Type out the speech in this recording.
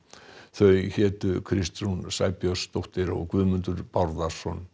þau hétu Kristrún Sæbjörnsdóttir og Guðmundur Bárðarson